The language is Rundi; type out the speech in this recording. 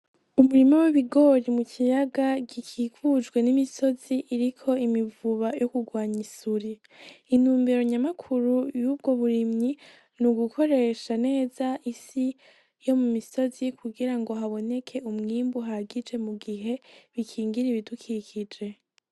Umurima w'ibigori mu kiyaga gikukujwe n'imisozi iriko imivuba yo kugwanya isuri, intumbero nyamakuru yubwo burimyi nugukoresha neza isi yo mu misozi kugirango haboneke umwimbo uhagije mugihe bukingira ibidukikuje.